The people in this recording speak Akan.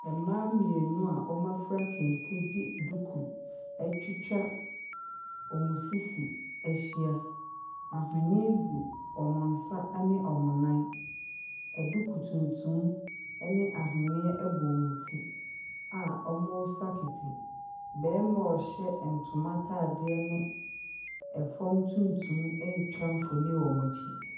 Mmaa mmienu a wɔafura kente de duku atwitwa wɔn sisi ahyia. Ahweneɛ gu wɔn nsa ne wɔn nan. Aduku tuntum ne ahweneɛ bɔ wɔn ti a wɔresa kete. Barima a ɔhyɛ ntoma ataadeɛ ne ɛfam tuntum retwa mfonin wɔ wɔn akyi.